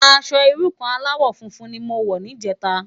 Aṣò irú kàn álàwò fúnfún ni mó wò nijètá